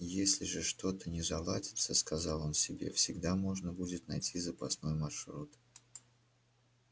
если же что-то не заладится сказал он себе всегда можно будет найти запасной маршрут